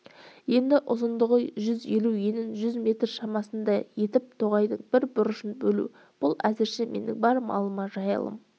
енді ұзындығын жүз елу енін жүз метр шамасындай етіп тоғайдың бір бұрышын бөлу бұл әзірше менің бар малыма жайылым